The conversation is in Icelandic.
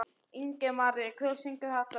Ingimaría, hver syngur þetta lag?